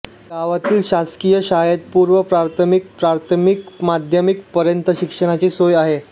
गावातील शासकीय शाळेत पूर्व प्राथमिक प्राथमिक माध्यमिक पर्यंत शिक्षणाची सोय आहे